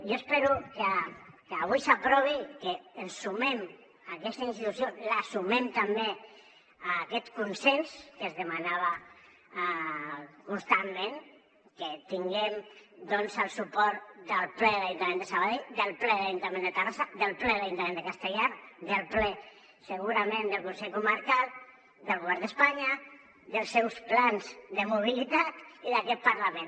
jo espero que avui s’aprovi que ens hi sumem aquesta institució la sumem també a aquest consens que es demanava constantment que tinguem doncs el suport del ple de l’ajuntament de sabadell del ple de l’ajuntament de terrassa del ple de l’ajuntament de castellar del ple segurament del consell comarcal del govern d’espanya dels seus plans de mobilitat i d’aquest parlament